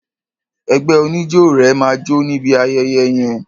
Ẹgbẹ́ oníjó rẹ máa jó níbi ayẹyẹ yẹn.